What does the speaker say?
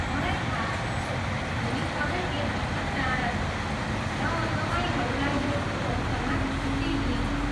मलाई थाहा छ, होली अझै एक हप्ता टाढा छ, र तपाईँहरूलाई यसको अवसरमा छुट्टी दिइनेछ।